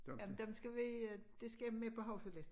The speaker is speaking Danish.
Jamen dem skal vi øh dét skal med på huskelisten